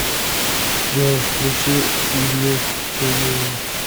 джой включи и люк ту ю